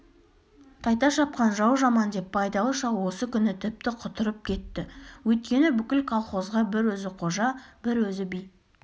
қайта шапқан жау жаман деп байдалы шал осы күні тіпті құтырып кетті өйткені бүкіл колхозға бір өзі қожа бір өзі би